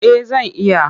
Eh zan iya.